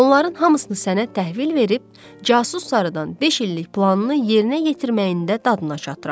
Onların hamısını sənə təhvil verib, casus sarıdan beş illik planını yerinə yetirməyində dadına çattıram.